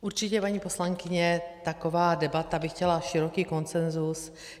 Určitě, paní poslankyně, taková debata by chtěla široký konsenzus.